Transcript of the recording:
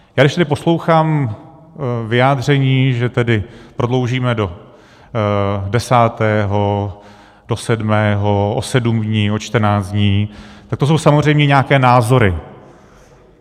A když tady poslouchám vyjádření, že tedy prodloužíme do desátého, do sedmého, o sedm dní, o čtrnáct dní, tak to jsou samozřejmě nějaké názory.